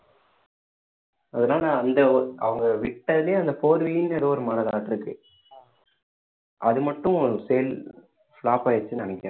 அதனால அந்த work அவங்க விட்டது அந்த four wheeler ஏதோ ஒரு model ஆட்ட இருக்கு அது மட்டும் sale flop ஆயிடுச்சுன்னு நினைக்கிறேன்